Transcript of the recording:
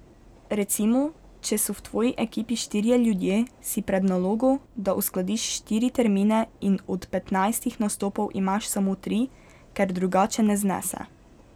Recimo, če so v tvoji ekipi štirje ljudje, si pred nalogo, da uskladiš štiri termine in od petnajstih nastopov imaš samo tri, ker drugače ne znese.